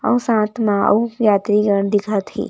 अऊ साथ म अऊ यात्रीगण दिखत हे।